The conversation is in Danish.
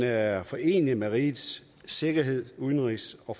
er foreneligt med rigets sikkerheds udenrigs og